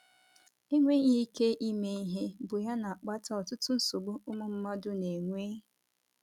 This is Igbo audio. Enweghị ike ime ihe bụ ya na - akpata ọtụtụ nsogbu ụmụ mmadụ na - enwe?